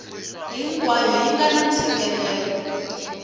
hinkwayo yi nga na nseketelo